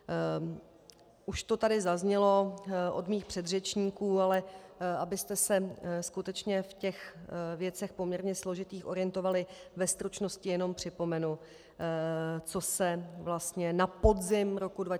Už to tady zaznělo od mých předřečníků, ale abyste se skutečně v těch věcech, poměrně složitých, orientovali, ve stručnosti jenom připomenu, co se vlastně na podzim roku 2015 odehrálo.